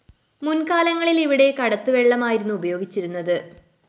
മുന്‍കാലങ്ങളില്‍ ഇവിടെ കടത്തുവള്ളമായിരുന്നു ഉപയോഗിച്ചിരുന്നത്